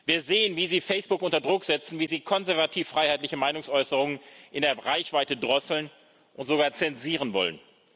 Wir sehen, wie sie Facebook unter Druck setzen, wie sie konservativ freiheitliche Meinungsäußerung in der Reichweite drosseln und sogar zensieren wollen.